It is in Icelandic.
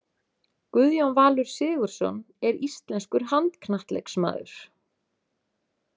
Guðjón Valur Sigurðsson er íslenskur handknattleiksmaður.